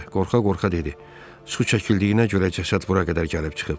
Qorxa-qorxa dedi: Su çəkildiyinə görə cəsəd bura qədər gəlib çıxıb.